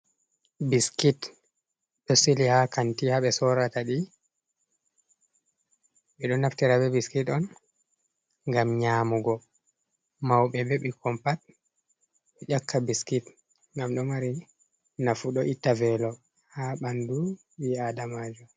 Biskit ɗo sili haa kanti ,haa ɓe sorata ɗi. Ɓe ɗo naftira be biskit on, ngam nyamugo mawɓe be ɓikkon pat, ƴakka biskit .Ngam ɗo mari nafu, ɗo itta veelo haa ɓanndu ɓii aadamajo.